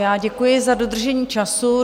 Já děkuji za dodržení času.